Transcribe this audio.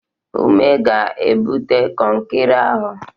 Ume ga-ebute kọnkịrị ahụ.